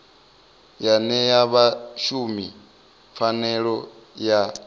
ya ṅea vhashumi pfanelo ya